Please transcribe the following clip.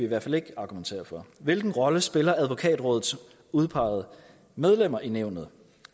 hvert fald ikke argumentere for hvilken rolle spiller advokatrådets udpegede medlemmer i nævnet